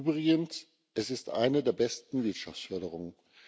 Übrigens Es ist eine der besten Wirtschaftsförderungen.